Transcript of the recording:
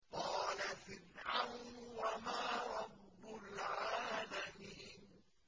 قَالَ فِرْعَوْنُ وَمَا رَبُّ الْعَالَمِينَ